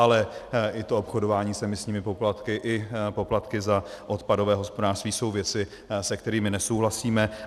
Ale i to obchodování s emisními poplatky i poplatky za odpadové hospodářství jsou věci, se kterými nesouhlasíme.